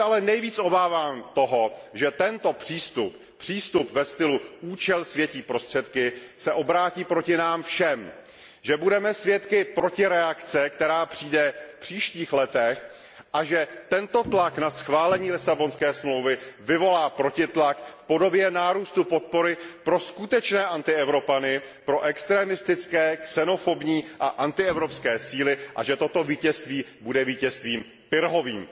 Nejvíc se ale obávám toho, že tento přístup, přístup ve stylu účel světí prostředky, se obrátí proti nám všem, že budeme svědky protireakce, která přijde v příštích letech, a že tento tlak na schválení Lisabonské smlouvy vyvolá protitlak v podobě nárůstu podpory pro skutečné antievropany, pro extremistické, xenofobní a antievropské síly, a že toto vítězství bude vítězstvím Pyrrhovým.